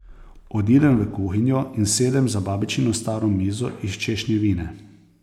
Odidem v kuhinjo in sedem za babičino staro mizo iz češnjevine.